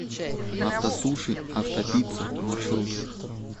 автосуши автопицца маршрут